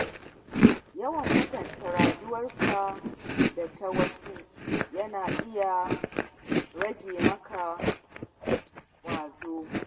Yawan kwatanta rayuwar ka da ta wasu yana iya rage maka ƙwazo.